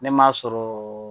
Ne m'a sɔrɔ